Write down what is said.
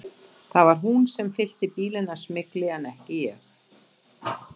Það var hún sem fyllti bílinn af smygli en ekki ég.